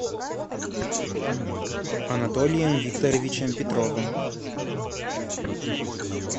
анатолием викторовичем петровым